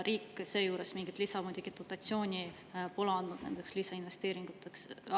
Riik seejuures mingit lisadotatsiooni nendeks lisainvesteeringuteks pole andnud.